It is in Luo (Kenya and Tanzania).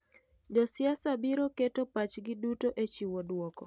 Josiasa biro keto pachgi duto e chiwo dwoko.